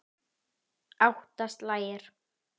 Átta slagir.